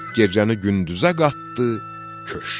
Gecəni gündüzə qatdı, köçdü.